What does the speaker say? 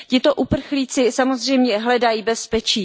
Tito uprchlíci samozřejmě hledají bezpečí.